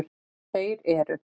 Þeir eru: